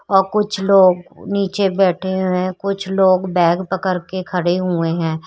और कुछ लोग नीचे बैठे हुए हैं कुछ लोग बैग पकड़ के खड़े हुए हैं।